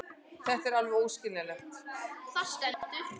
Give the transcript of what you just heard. Þetta er alveg óskiljanlegt.